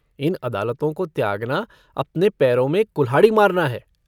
इन अदालतों को त्यागना अपने पैरो में कुल्हाड़ी मारना है।